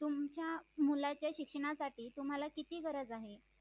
तुमच्या मुलाच्या शिक्षणासाठी तुम्हाला किती गरज आहे